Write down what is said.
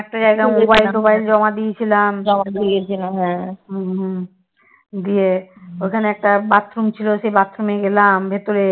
ওখানে একটা bathroom ছিল সেই bathroom গেলাম ভেতরে